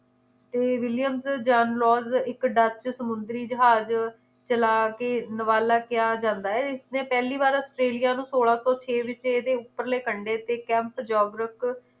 ਤੇ ਵਿਲੀਅਮਸ ਜਨਲੋਰਸ ਇੱਕ ਡੱਕ ਸਮੁੰਦਰੀ ਜਹਾਜ ਚਲਾ ਕੇ ਨਵਾਲਾ ਕਿਆ ਜਾਂਦਾ ਏ ਇਸਨੇ ਪਹਿਲੀ ਵਾਰ ਨੂੰ ਸੋਲਾਂ ਸੌ ਛੇ ਵਿਚ ਇਹਦੇ ਉਪਰਲੇ ਕੰਡੇ ਤੇ ਕੈਮ੍ਪ ਜੌਗਰਕ